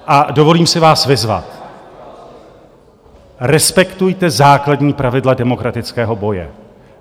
A dovolím si vás vyzvat: respektujte základní pravidla demokratického boje.